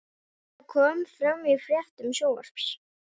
Þetta kom fram í fréttum Sjónvarps